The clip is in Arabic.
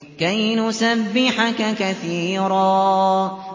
كَيْ نُسَبِّحَكَ كَثِيرًا